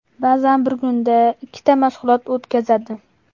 Ba’zan bir kunda ikkita mashg‘ulot o‘tkazadi.